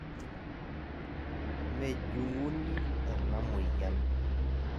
mejung'uni ena moyian